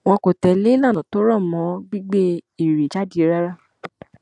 wọn kò tẹlé ìlànà tó rọ mọ gbígbé eré jáde rárá